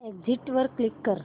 exit वर click कर